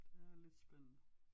Det er lidt spændende